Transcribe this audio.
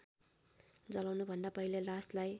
जलाउनुभन्दा पहिले लासलाई